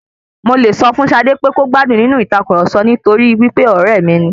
Mo lẹ̀ sọ fún Ṣadé pé kò gbádùn nínú ìtàkurọ̀sọ nítorí wípé ọ̀rẹ́ mi ni.